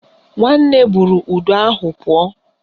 Nwanne buru udu ahụ pụọ